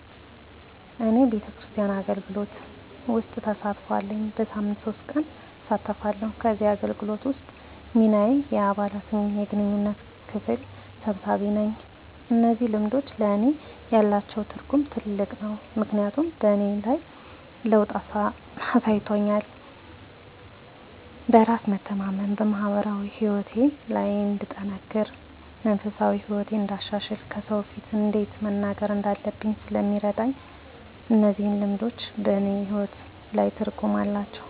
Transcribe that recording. እኔ ቤተክርስቲያን አገልግሎት ውስጥ ተሳትፎ አለኝ። በሳምንት ሶስት ቀን እሳተፋለሁ ከዚህ አገልግሎት ውስጥ ሚናየ የአባላት የግንኙነት ክፍል ሰብሳቢ ነኝ። እነዚህ ልምዶች ለእኔ ያላቸው ትርጉም ትልቅ ነው ምክንያቱም በእኔ ላይ ለውጥ አሳይቶኛል በራስ የመተማመን፣ በማህበራዊ ህይወቴ ላይ እንድጠነክር፣ መንፈሳዊ ህይወቴን እንዳሻሽል፣ ከሰው ፊት እንዴት መናገር እንዳለብኝ ስለሚያደርገኝ እነዚህ ልምዶች በእኔ ህይወት ላይ ትርጉም አላቸው።